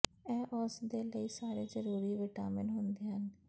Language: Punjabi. ਇਹ ਉਸ ਦੇ ਲਈ ਸਾਰੇ ਜਰੂਰੀ ਵਿਟਾਮਿਨ ਹੁੰਦੇ ਹਨ